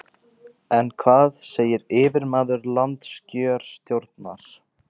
En hvað segir yfirmaður landskjörstjórnar?